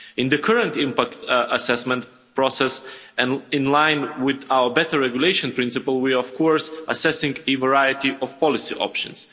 In the current impact assessment process and in line with our better regulation principle, we are of course assessing a variety of policy options.